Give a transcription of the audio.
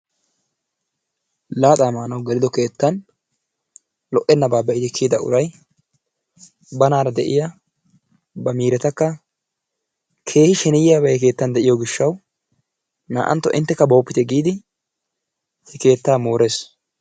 Laaxaa maanaw gelido keettan lo"ennaba be'idi kiyida uray banaara de'iyaa ba miiretakka keehi sheneyiyabay he keettan de'iyo gishshaw naa"antto entekka booppite giidi he keettaa moores.